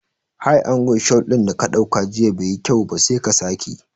High angle shot dinda ka dauka jiya bai yi kyau ba, sai ka sake